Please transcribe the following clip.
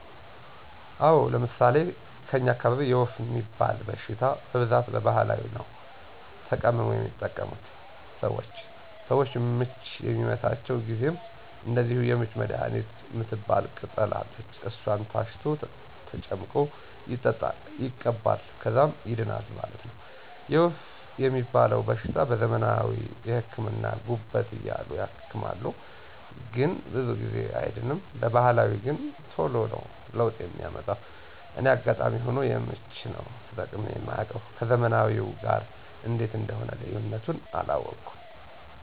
አወ፤ ለምሣሌ ከኛ አካባቢ የወፍ ሚባል በሽታ በብዛት በባህላዊ ነዉ ተቀምሞ የሚጠቀሙት ሰወች። ሰወች ምች በሚመታቸው ጊዜም እንደዚሁ የምች መድሀኒት ምትባል ቅጠል አለች እሷን ታሽቶ ተጨምቆ ይጠጣል ይቀባል ከዛም ይድናል ማለት ነው። የወፍ ሚባለዉ በሽታ በዘመናዊ ህክምና ጉበት እያሉ ያክማሉ ግን ብዙ ጊዜ አይድንም በባህላዊ ገን ተሎ ነው ለውጥ ሚያመጣ እኔ አጋጣሚ ሁኖ የምች ነው ተጠቅሜ ማውቅ ከዘመናዊው ጋር እንዴት እንደሆነ ልዩነቱን አላወኩም።